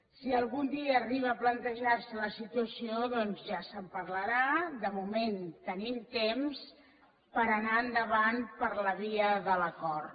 si algun dia arriba a plantejar se la situació doncs ja se’n parlarà de moment tenim temps per anar endavant per la via de l’acord